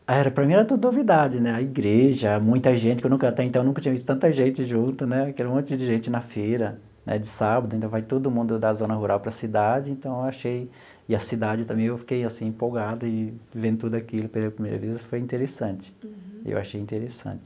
Ah era para mim era tudo novidade né, a igreja, muita gente que eu nunca até então eu nunca tinha visto tanta gente junto né, que era um monte de gente na feira, né de sábado, então vai todo mundo da zona rural para a cidade então eu achei, e a cidade também eu fiquei assim empolgado e vendo tudo aquilo pela primeira vez foi interessante, eu achei interessante.